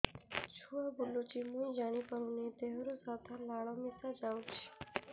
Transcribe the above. ଛୁଆ ବୁଲୁଚି ମୁଇ ଜାଣିପାରୁନି ଦେହରୁ ସାଧା ଲାଳ ମିଶା ଯାଉଚି